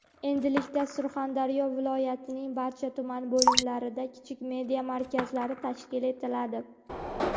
Endilikda Surxondaryo viloyatining barcha tuman bo‘limlarida kichik media markazlari tashkil etiladi.